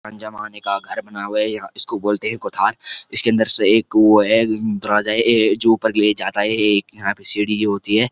जमाने का घर बना हुआ है यह इसको बोलते है कोठार इसके अंदर से एक वो दरवाजा है जो ऊपर के लिए जाता है एक यहां पर एक सीढ़ी होती है।